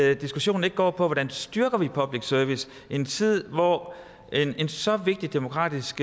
at diskussionen ikke går på hvordan vi styrker public service i en tid hvor en så vigtig demokratisk